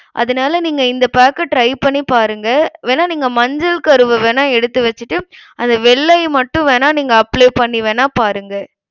அதனால நீங்க இந்த pack அ try பண்ணிபாருங்க. வேணா நீங்க மஞ்சள் கருவை வேணா எடுத்து வெச்சிட்டு அந்த வெள்ளை மட்டும் வேணா நீங்க apply பண்ணி வேணா பாருங்க.